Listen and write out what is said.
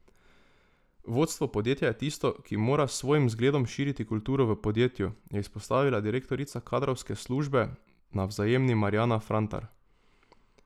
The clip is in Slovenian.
Vodstvo podjetja je tisto, ki mora s svojim zgledom širiti kulturo v podjetju, je izpostavila direktorica kadrovske službe na Vzajemni Marjana Frantar.